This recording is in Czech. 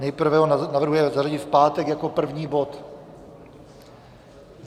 Nejprve ho navrhuje zařadit v pátek jako první bod.